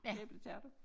Æbletærte